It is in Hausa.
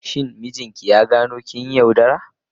Shin mijinki ya gano kin yi yaudara?